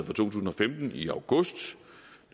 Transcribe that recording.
tusind og femten i august